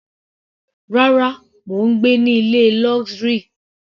Rárá, mò ń gbé ní ilé luxury.